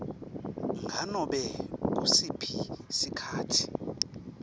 nganobe ngusiphi sikhatsi